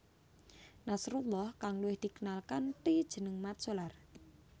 Nasrullah kang luwih dikenal kanthi jeneng Mat Solar